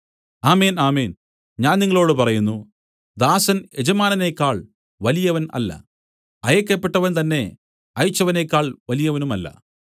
ആമേൻ ആമേൻ ഞാൻ നിങ്ങളോടു പറയുന്നു ദാസൻ യജമാനനേക്കാൾ വലിയവൻ അല്ല അയയ്ക്കപ്പെട്ടവൻ തന്നെ അയച്ചവനെക്കാൾ വലിയവനുമല്ല